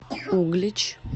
углич